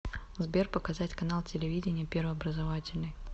сбер показать канал телевидения первый образовательный